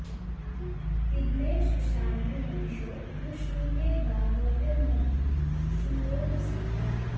तिग्मे शिशानो महिषो न शृङ्गे गा गव्यन्नभि शूरो न सत्वा